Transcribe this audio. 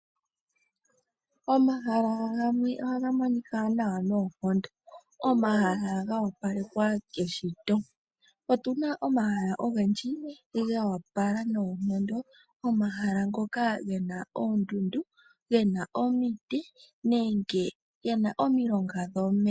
Omahala gamwe ohaga monika nawa noonkondo, omahala ga opalekwa keshito. Otuna omahala ogendji ga yopala nawa noonkondo, omahala ngono gena oondundu, gena omiti nenge gena omilonga dhomeya.